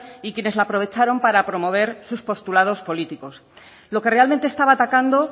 y quienes la aprovecharon para promover sus postulados políticos lo que realmente estaba atacando